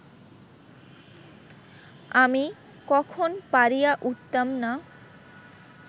আমি কখন পারিয়া উঠিতাম না